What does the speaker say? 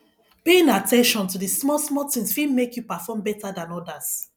paying at ten tion to di small small things fit make you perform better than odas